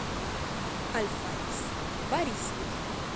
альфарис борисович